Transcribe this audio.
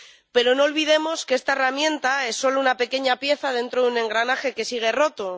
Pero no olvidemos que esta herramienta es solo una pequeña pieza dentro de un engranaje que sigue roto.